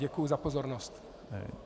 Děkuji za pozornost.